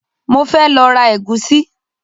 Mo fẹ́ lọ ra ẹ̀gúsí